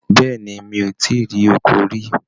Béèni, mi o ti rí ọkọ rí.